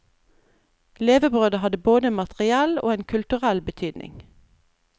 Levebrødet hadde både materiell og en kulturell betydning.